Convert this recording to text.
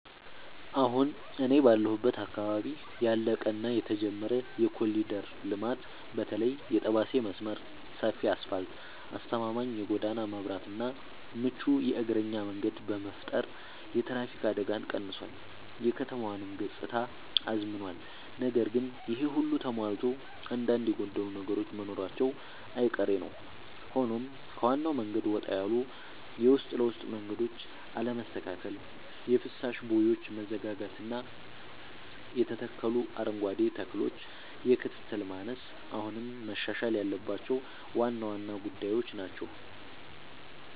አሁን እኔ ባለሁበት አካባቢ ያለቀ እና የተጀመረ የኮሪደር ልማት (በተለይ የጠባሴ መስመር) ሰፊ አስፋልት: አስተማማኝ የጎዳና መብራትና ምቹ የእግረኛ መንገድ በመፍጠር የትራፊክ አደጋን ቀንሷል: የከተማዋንም ገጽታ አዝምኗል። ነገር ግን ይሄ ሁሉ ተሟልቶ አንዳንድ የጎደሉ ነገሮች መኖራቸው አይቀሬ ነዉ ሆኖም ከዋናው መንገድ ወጣ ያሉ የውስጥ ለውስጥ መንገዶች አለመስተካከል: የፍሳሽ ቦዮች መዘጋጋትና የተተከሉ አረንጓዴ ተክሎች የክትትል ማነስ አሁንም መሻሻል ያለባቸው ዋና ዋና ጉዳዮች ናቸው።